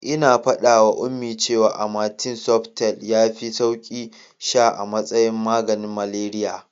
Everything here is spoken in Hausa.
Ina faɗawa Ummi cewa amatem softgel yafi sauki sha a matsayin maganin malariya.